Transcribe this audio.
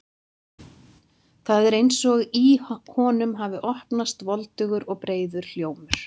Það er eins og í honum hafi opnast voldugur og breiður hljómur.